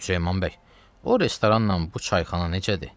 Süleyman bəy, o restoranla bu çayxana necədir?